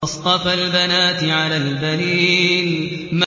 أَصْطَفَى الْبَنَاتِ عَلَى الْبَنِينَ